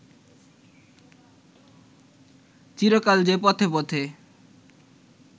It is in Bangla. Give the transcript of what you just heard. চিরকাল যে পথে পথে